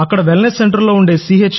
wellness సెంటర్లో ఉండే C